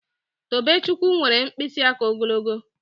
Tobechukwu nwere mkpịsị aka ogologo